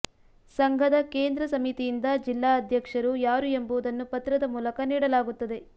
ಸಂಘದ ಕೇಂದ್ರ ಸಮಿತಿಯಿಂದ ಜಿಲ್ಲಾ ಅಧ್ಯಕ್ಷರು ಯಾರು ಎಂಬುದನ್ನು ಪತ್ರದ ಮೂಲಕ ನೀಡಲಾಗುತ್ತದೆ